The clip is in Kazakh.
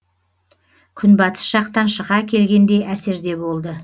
күн батыс жақтан шыға келгендей әсерде болды